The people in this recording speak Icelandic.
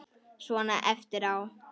Svona eftir á.